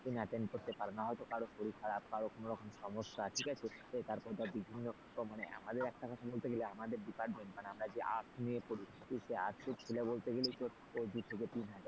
attend করতে পারে না হয়তো কারো শরীর খারাপ কারো কোনরকম সমস্যা ঠিক আছে তারপর ধর বিভিন্ন মানে আমাদের একটা কথা বলতে গেলে department মানে আমরা যে arts নিয়ে পড়ি সেই arts র ছেলে বলতে গেলে দূ থেকে তিন হাজার,